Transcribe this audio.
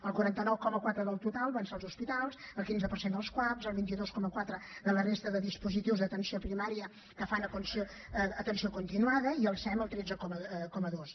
el quaranta nou coma quatre del total va ser als hospitals el quinze per cent als cuap el vint dos coma quatre a la resta de dispositius d’atenció primària que fan atenció continuada i al sem el tretze coma dos